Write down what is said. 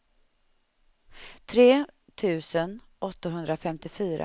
tre tusen åttahundrafemtiofyra